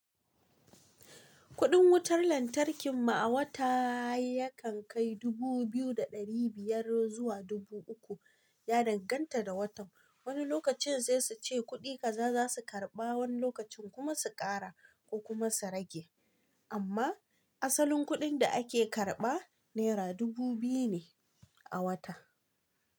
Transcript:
Kuɗin wutar lantarkin mu a wata yakan kai dubu biyu da ɗari biyar zuwa dubu uku, ya danganta da watan. Wani lokacin sai suce kuɗi kaza zasu karɓa wani lokacin kuma su ƙara kokuma su rage, amma asalin kuɗin da ake karɓa naira dubu biyu ne a wata.